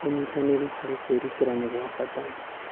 Ũnyitanĩri harĩ kwĩrutĩra nĩ gwa bata.